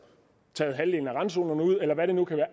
taget halvdelen af randzonerne ud eller hvad det nu kan være